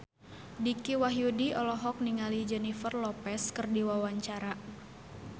Dicky Wahyudi olohok ningali Jennifer Lopez keur diwawancara